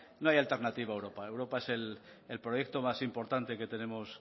no hay alternativa a europa europa es el proyecto más importante que tenemos